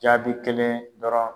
Jaabi kelen dɔrɔn.